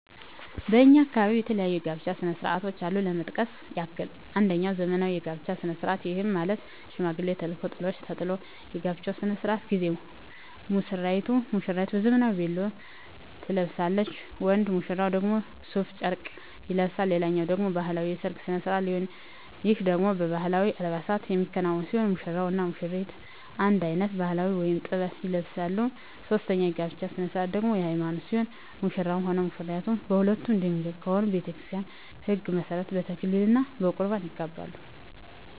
በእኛ አካባቢ የተለያዩ የጋብቻ ስነ ስርዓቶች አሉ ለመጥቀስ ያክል አንጀኛው ዘመናዊ የጋብቻ ስነ ስርዓት ይህም ማለት ሽማግሌ ተልኮ ጥሎሽ ተጥሎ የጋብቻው ስነ ስርዓት ጊዜ ሙስራይቱ ዘመናዊ ቬሎ ትለብሳለች ወንድ ሙሽራው ደግሞ ሡፍ ጨርቅ ይለብሳል ሌላኛው ደግሞ ባህላዊ የሰርግ ስነ ስርዓት ሲሆን ይህ ደግሞ በባህላዊ አልባሳት የሚከናወን ሲሆን ሙሽራው እና ሙሽሪቷ አንድ አይነት ባህላዊ(ጥበብ) ይለብሳሉ ሶስተኛው የጋብቻ ስነ ስርዓት ደግሞ የሀይማኖት ሲሆን ሙሽራውም ሆነ ሙሽራይቷ ሁለቱም ድንግል ከሆኑ በቤተክርስቲያን ህግ መሠረት በተክሊል እና በቁርባን ይጋባሉ።